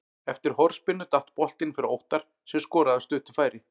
Eftir hornspyrnu datt boltinn fyrir Óttar sem skoraði af stuttu færi.